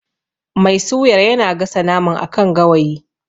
Mai suyar yana gasa naman a kan gawayi.